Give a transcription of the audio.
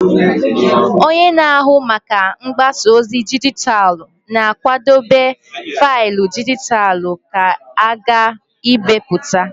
Onye na-ahụ maka mgbasa ozi dijitalụ na-akwadebe faịlụ dijitalụ ka a ga-ebipụta.